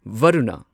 Varuna